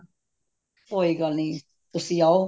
ਕੋਈ ਗੱਲ ਨੀ ਤੁਸੀਂ ਆਓ